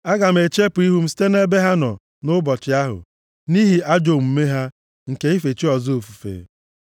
Aga m echepụ ihu m site nʼebe ha nọ nʼụbọchị ahụ, nʼihi ajọ omume ha nke ife chi ọzọ ofufe.